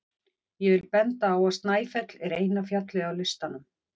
Ég vil benda á að Snæfell er eina fjallið á listanum.